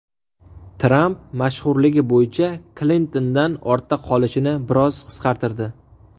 Tramp mashhurligi bo‘yicha Klintondan ortda qolishini biroz qisqartirdi.